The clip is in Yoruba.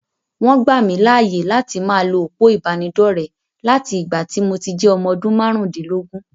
Wọ́n gbà mí láàyè láti máa lo òpó ìbánidọ́rẹ̀ láti ìgbà tí mo ti jẹ́ ọmọ odún márùndínlógún.